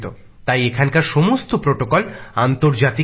তাই এখানকার সমস্ত বিধি নিয়ম আন্তর্জাতিক মানের